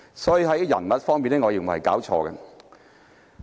所以，在人物方面，我認為是弄錯了。